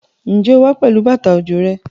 Ǹjẹ́ o wá pẹ̀lú bàtà òjò rẹ?